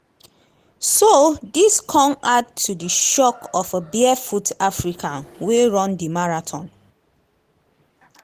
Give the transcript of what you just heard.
“so dis come add to di shock of a barefoot african wey run di marathon.”